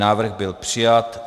Návrh byl přijat.